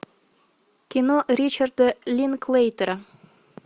кино ричарда линклейтера